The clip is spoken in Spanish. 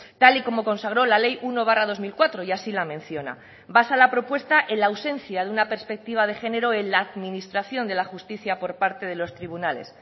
tal y como consagró la ley uno barra dos mil cuatro y así la menciona basa la propuesta en la ausencia de una perspectiva de género en la administración de la justicia por parte de los tribunales